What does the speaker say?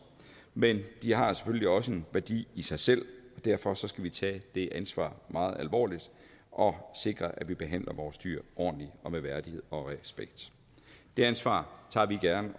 men de har selvfølgelig også en værdi i sig selv og derfor skal vi tage det ansvar meget alvorligt og sikre at vi behandler vores dyr ordentligt og med værdighed og respekt det ansvar tager vi gerne